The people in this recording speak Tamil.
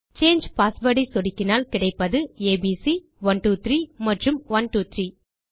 சாங்கே பாஸ்வேர்ட் ஐ சொடுக்கினால் கிடைப்பது ஏபிசி 123 மற்றும் 123